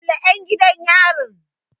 Kulle 'yan gidan yarin!